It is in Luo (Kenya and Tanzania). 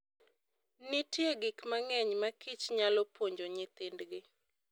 Nitie gik mang'eny ma kich nyalo puonjo nyithindgi.